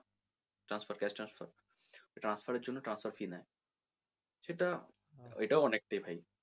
transfer cash transfer transfer এর জন্য transfer fee নেয়। সেটা এটাও অনেকটা ভাই।